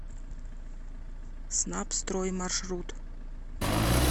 снабстрой маршрут